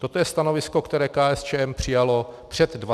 Toto je stanovisko, které KSČ přijala před 20 lety.